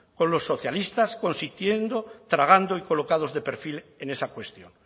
con los socialistas consintiendo tragando y colocados de perfil en esa cuestión